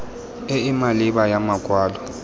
e e maleba ya makwalo